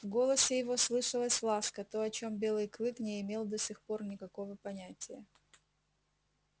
в голосе его слышалась ласка то о чем белый клык не имел до сих пор никакого понятия